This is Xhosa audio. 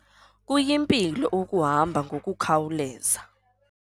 Kuyimpilo ukuhamba ngokukhawuleza.